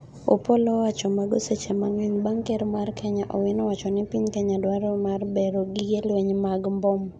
opolo owacho mago seche mang'eny bang' ker ma Kenya Owino wacho ni Piny Kenya dwaro mar bero gige lweny mag mbom: